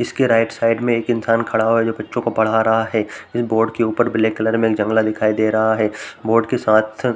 इसके right side में एक इंसान खड़ा हुआ है जो बच्चों को पढ़ रहा है। बोर्ड के ऊपर ब्लैक कलर में एक जंगला दिखाई दे रहा है। बोर्ड के साथ